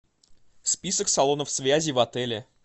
список салонов связи в отеле